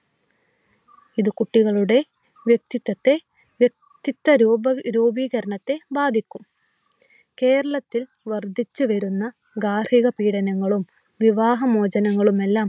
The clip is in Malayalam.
ഇത് കുട്ടികളുടെ വ്യക്തിത്വത്തെ വ്യക്തിത്വ രൂപീകരണത്തെ ബാധിക്കും കേരളത്തിൽ വർദ്ധിച്ചുവരുന്ന ഗാർഹിക പീഡനങ്ങളും വാഹനമോചനങ്ങളും എല്ലാം